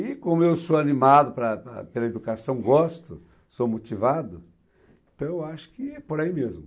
E como eu sou animado para para pela educação, gosto, sou motivado, então eu acho que é por aí mesmo.